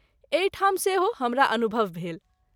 एहि ठाम सेहो हमरा अनुभव भेल।